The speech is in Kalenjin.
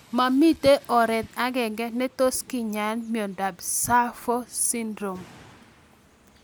Mamito oret ag'eng'e netos kinyae miondop SAPHO Syndrome